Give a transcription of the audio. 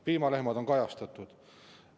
Piimalehmad on kajastatud.